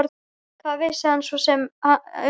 Hvað vissi hann svo sem um hana?